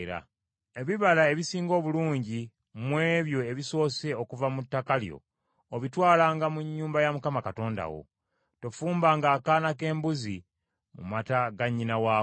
“Ebibala ebisinga obulungi mu ebyo ebisoose okuva mu ttaka lyo obitwalanga mu nnyumba ya Mukama Katonda wo. Tofumbanga akaana k’embuzi mu mata ga nnyina waako.